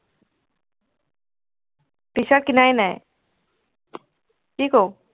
t-shirt কিনাই নাই, কি কৰোঁ?